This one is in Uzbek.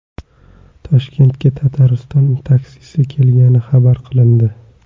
Toshkentga Tatariston taksisi kelgani xabar qilindi.